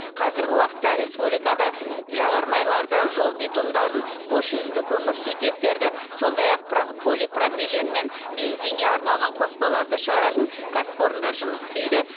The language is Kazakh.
қазіргі уақытта республикада жағармайларды жол битумдарын хош иісті көмірсутектерді сондай ақ про полипропилен мен бензинге арналған қоспаларды шығаратын кәсіпорындар жұмыс істейді